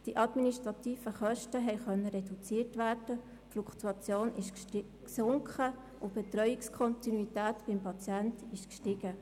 Die administrativen Kosten konnten reduziert werden, die Fluktuation ist gesunken und die Betreuungskontinuität beim Patienten ist gestiegen.